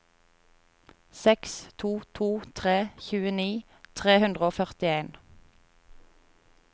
seks to to tre tjueni tre hundre og førtien